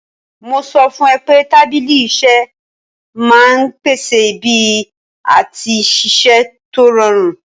Mo sọ fún ẹ pé tábìlì iṣẹ́ máa ń pèsè ibi àti ṣiṣẹ́ tó rọrùn